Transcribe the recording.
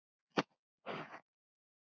En fleira komi til.